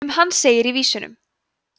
um hann segir í vísunum